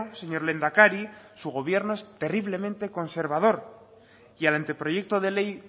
señor lehendakari su gobierno es terriblemente conservador y al anteproyecto de ley